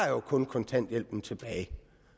jo kun kontanthjælpen tilbage jeg